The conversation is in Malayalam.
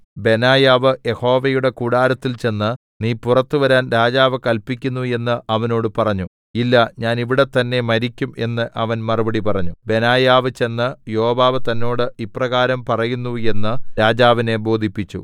ബെനായാവ് യഹോവയുടെ കൂടാരത്തിൽ ചെന്ന് നീ പുറത്തുവരാൻ രാജാവ് കല്പിക്കുന്നു എന്ന് അവനോട് പറഞ്ഞു ഇല്ല ഞാൻ ഇവിടെ തന്നേ മരിക്കും എന്ന് അവൻ മറുപടി പറഞ്ഞു ബെനായാവ് ചെന്ന് യോവാബ് തന്നോട് ഇപ്രകാരം പറയുന്നു എന്ന് രാജാവിനെ ബോധിപ്പിച്ചു